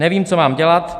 Nevím, co mám dělat.